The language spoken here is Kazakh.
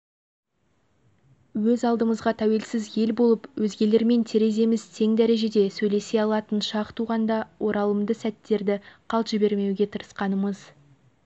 өз алдымызға тәуелсіз ел болып өзгелермен тереземіз тең дәрежеде сөйлесе алатын шақ туғанда оралымды сәттерді қалт жібермеуге тырысқанымыз